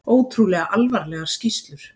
Ótrúlega alvarlegar skýrslur